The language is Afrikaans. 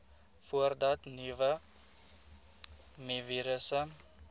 voordat nuwe mivirusse